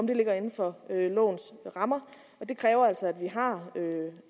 ligger inden for lovens rammer det kræver altså